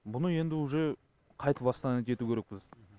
бұны енді уже қайта восстановить ету керекпіз